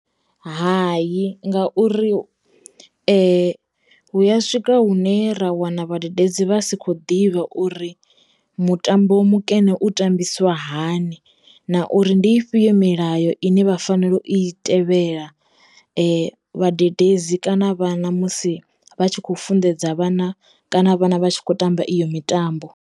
Hayi ngauri hu ya swika hune ra wana vhadededzi vha si kho ḓivha uri mutambo mukene u tambisiwa hani na uri ndi ifhio milayo ine vha fanelo u i tevhela vhadededzi kana vhana musi vha tshi kho funḓedza vhana kana vhana vha tshi khou tamba iyo mitambo.